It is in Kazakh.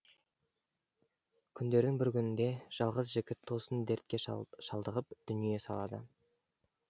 күндердің бір күнінде жалғыз жігіт тосын дертке шалдығып дүние салады